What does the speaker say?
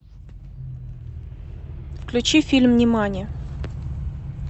включи фильм нимани